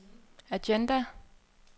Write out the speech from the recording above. agenda